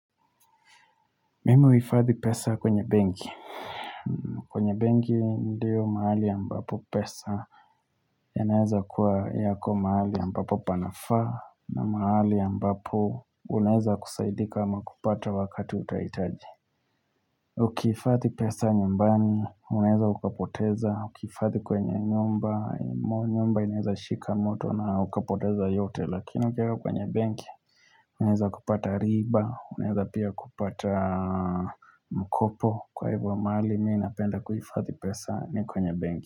Mimi huhifadhi pesa kwenye benki kwenye benki ndiyo mahali ya ambapo pesa yanaweza kuwa yako mahali ambapo panafaa na mahali ambapo Unaeza kusaidika ama kupata wakati utahitaji Ukihifadhi pesa nyumbani, unaeza ukapoteza, ukihifadhi kwenye nyumba, nyumba inaeza shika moto na ukapoteza yote lakini ukieka kwenye benki Unaezakupata riba, unaeza pia kupata mkopo Kwa hivyo mahali, mimi napenda kuhifadhi pesa ni kwenye benki.